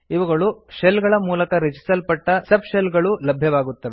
ಇವುಗಳು ಶೆಲ್ ಗಳ ಮೂಲಕ ರಚಿಸಲ್ಪಟ್ಟ ಸಬ್ ಶೆಲ್ ಗಳಲ್ಲೂ ಲಭ್ಯವಾಗುತ್ತವೆ